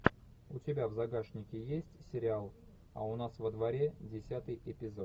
у тебя в загашнике есть сериал а у нас во дворе десятый эпизод